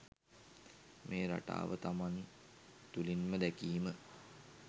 මේ රටාව තමන් තුළින්ම දැකීම.